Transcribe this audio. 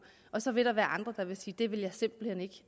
og så vil der være andre der vil sige det vil jeg simpelt hen